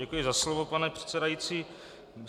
Děkuji za slovo, pane předsedající.